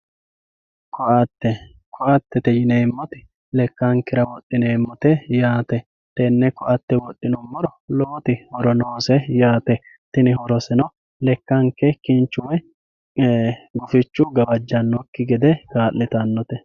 Koate, koattete yineemoti lekankera wodhineemotte yaate, tene koatte wodhinumoro lowoti horo noosse yaatte tini horoseno lekanke kinchu woyi gufichu gawajjanokki gede kaalitanonte